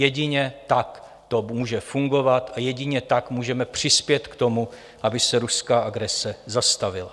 Jedině tak to může fungovat a jedině tak můžeme přispět k tomu, aby se ruská agrese zastavila.